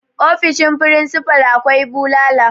ofoshin frisifal akwai bulala